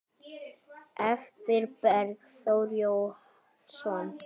eftir Bergþór Jónsson